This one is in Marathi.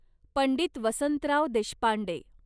पंडित वसंतराव देशपांडे